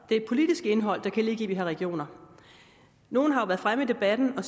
det politiske indhold der kan ligge i at vi har regioner nogle har været fremme i debatten og